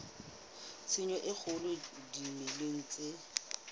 tshenyo e kgolo dimeleng tse